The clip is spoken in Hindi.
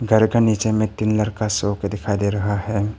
घर का नीचे में का शॉप दिखाई दे रहा है।